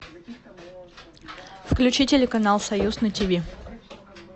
включи телеканал союз на тв